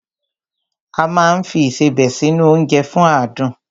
A máa ń fi Ìṣebẹ̀ sí nu oúnjẹ fún adùn